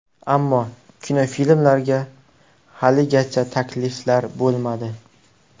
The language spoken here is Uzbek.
Ammo kinofilmlarga haligacha takliflar bo‘lmadi.